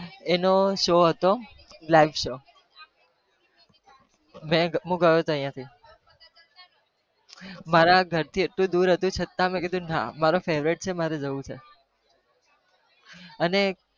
એનો show હતો live show હતો હું હું ગયો તો અહિયાં થી મારા ઘરથી એટલું દુર હતું છતાં મેં કીધુ ના મારો favourite છે મારું જવું છે અને